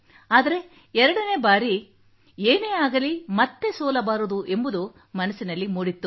ಆದರೆ ಎರಡನೆ ಬಾರಿ ಏನೇ ಆಗಲಿ ಮತ್ತೆ ಸೋಲಬಾರದು ಎಂಬುದು ಮನಸಿನಲ್ಲಿ ಮೂಡಿತ್ತು